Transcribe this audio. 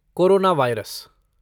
corona virus